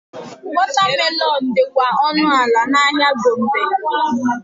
Watermelon dịkwa ọnụ ala n'ahịa Gombe.